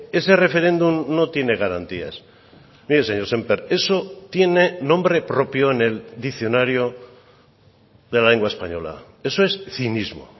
ese referéndum no tiene garantías mire señor semper eso tiene nombre propio en el diccionario de la lengua española eso es cinismo